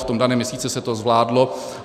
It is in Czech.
V tom daném měsíci se to zvládlo.